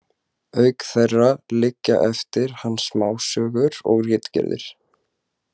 Auk þeirra liggja eftir hann smásögur og ritgerðir.